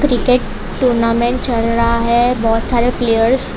cricket tournament चल रहा है बहोत सारे प्लेयर्स --